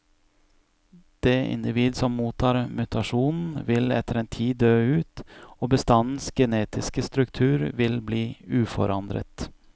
Det individ som mottar mutasjonen, vil etter en tid dø ut, og bestandens genetiske struktur vil bli uforandret.